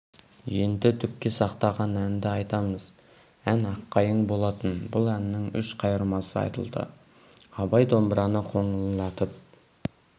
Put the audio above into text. енді дүпке сақтаған әнді айтамыз ән аққайың болатын бұл әннің үш қайырмасы айтылды абай домбыраны қоңырлатып